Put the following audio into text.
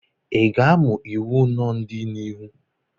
ị ga-amụ iwu n'ọdịnihu?